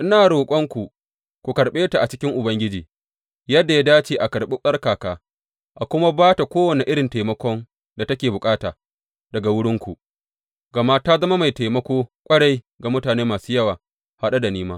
Ina roƙonku ku karɓe ta a cikin Ubangiji yadda ya dace a karɓi tsarkaka a kuma ba ta kowane irin taimakon da take bukata daga wurinku, gama ta zama mai taimako ƙwarai ga mutane masu yawa, haɗe da ni ma.